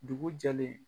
Dugu jɛlen